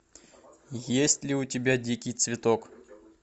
есть ли у тебя дикий цветок